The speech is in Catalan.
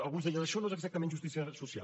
alguns deien això no és exactament justícia social